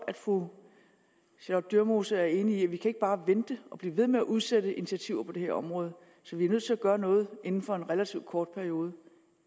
at fru charlotte dyremose er enig i at vi ikke bare kan vente og blive ved med at udsætte initiativer på det her område vi er nødt til at gøre noget inden for en relativt kort periode